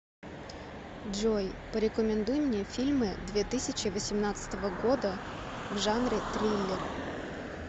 джой порекомендуй мне фильмы две тысячи восемнадцатого года в жанре триллер